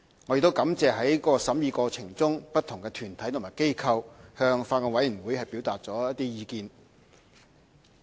我亦感謝在審議過程中，不同團體和機構向法案委員會表達的意見。